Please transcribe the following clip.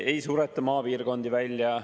Ei sureta maapiirkondi välja.